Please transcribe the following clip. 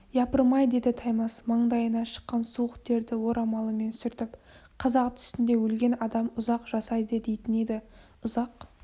япырмай деді таймас маңдайына шыққан суық терді орамалымен сүртіп қазақ түсінде өлген адам ұзақ жасайды дейтін еді ұзақ